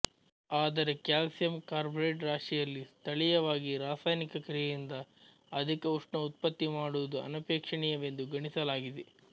ಆದರೆ calcium carbide ರಾಶಿಯಲ್ಲಿ ಸ್ಥಳೀಯವಾಗಿ ರಾಸಾಯನಿಕ ಕ್ರಿಯೆಯಿಂದ ಅಧಿಕ ಉಷ್ಣ ಉತ್ಪತ್ತಿಮಾಡುವುದು ಅನಪೇಕ್ಷಣೀಯವೆಂದು ಗಣಿಸಲಾಗಿದೆ